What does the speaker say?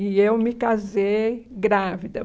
E eu me casei grávida.